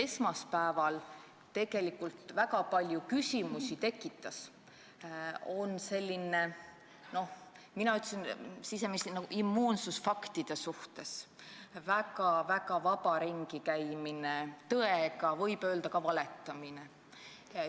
Esmaspäeval tekitas tegelikult väga palju küsimusi siseministri immuunsus faktide suhtes, väga-väga vaba ringikäimine tõega, võib öelda ka, valetamine.